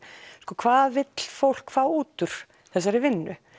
hvað vill fólk fá út úr þessari vinnu